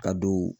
Ka don